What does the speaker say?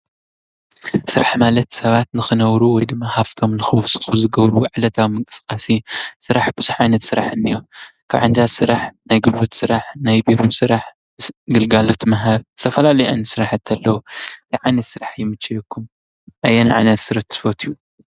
ስራሕ ማለት ሰባት ንክነብሩ ወይ ድማ ሃፍቶም ንክውስኩ ዝገብርዎ ዕላታዊ ምንቅስቃስ እዩ። ስራሕ ቡዙሕ ዓይነት ስራሕ እንሄ። ካብ ዓይነታት ስራሕ ናይ ጉልበት ስራሕ፣ ናይ ቢሮ ስራሕ ፣ግልጋሎት ምሃብ ዝተፈላለዩ ዓይነታት ስራሕቲ ኣለዉ። እንታይ ዓይነት ስራሕ ይምቸወኩም? ኣየናይ ዓይነት ስራሕ ትፈትዉ?